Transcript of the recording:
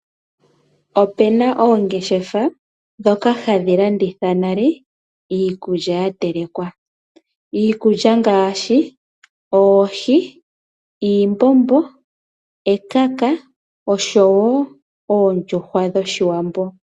Opuna oongeshefa ndhoka hadhi landithanale iikulya ya telekwa. Iikulya ngaashi oohi, iimbombo, ekaka noondjuhwa dhoshiwambo.